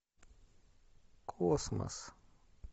космос